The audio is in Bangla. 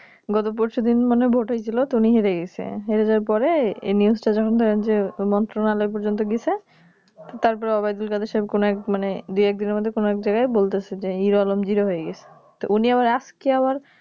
গত পরশুদিন মানে ভোট হয়েছিল উনি হেরে গেছেন হেরে যাওয়ার পরে এই News তা যখন মন্ত্রণালয় পর্যন্ত গেছে তারপরে Waidulkadersaab কোনো এক মানে দুই এক দিনের মধ্যে কোনো এক জায়গায় বলেছে যে HeroalomZero হয়ে গেছে তো উনি আবার আজকে আবার